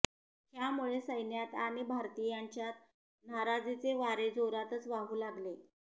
ह्यामुळे सैन्यात आणि भारतीयांच्यात नाराजीचे वारे जोरातच वाहू लागले